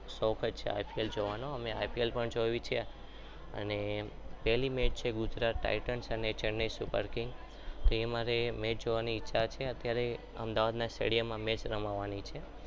અમે I P L પણ જોવી છે અને પેરીમેન્ટ છે ગુજરાત titans અને ચેન્નઈ super king તે અમારે match જોવાની ઈચ્છા છે ત્યારે અમદાવાદના stadium માં મેચ રમવાની છે.